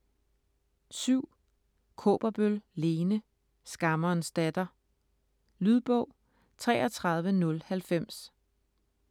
Kaaberbøl, Lene: Skammerens datter Lydbog 33090